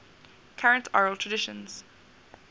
current oral traditions